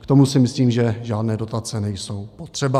K tomu si myslím, že žádné dotace nejsou potřeba.